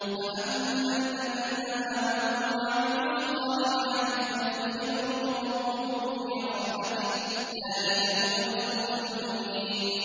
فَأَمَّا الَّذِينَ آمَنُوا وَعَمِلُوا الصَّالِحَاتِ فَيُدْخِلُهُمْ رَبُّهُمْ فِي رَحْمَتِهِ ۚ ذَٰلِكَ هُوَ الْفَوْزُ الْمُبِينُ